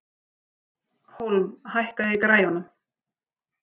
Hólm, hækkaðu í græjunum.